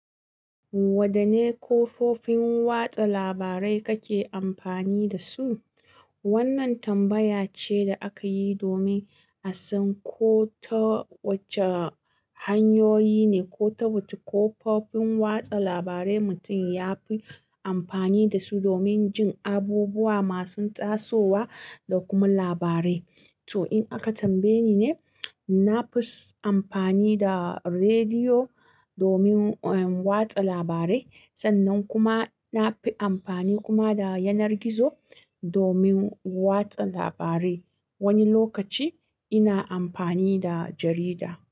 Wɗanne kafofin watsa labarai kake amfani da su? Wannan tambaya ce da aka yi domin a san ko ta wace hanyoyi ne ko ta wuce kafofin watsa labarai mutum ya fi amfani da su domin jin abubuwa masu tasowa da kuma labarai. To, in aka tambaye ni ne, na fi amfani da rediyo domin, eh, watsa labarai. Sannan kuma na fi amfani kuma da yanar gizo domin watsa labarai. Wani lokaci ina amfani da jarida.